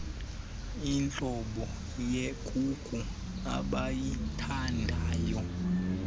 intlobo yekuku abayithandayo